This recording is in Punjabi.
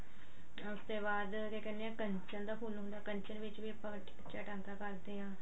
ਬਾਅਦ ਜੇ ਕੀਹਨੇ ਆਂ ਕੰਚਨ ਦਾ ਫੁੱਲ ਹੁੰਦਾ ਕੰਚ ਵਿੱਚ ਵੀ ਆਪਾਂ ਕੱਚਾ ਟਾਂਕਾ ਕਰਦੇ ਆਂ